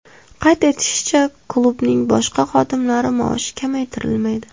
Qayd etilishicha, klubning boshqa xodimlari maoshi kamaytirilmaydi.